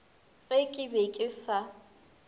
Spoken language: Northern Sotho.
ge ke be ke sa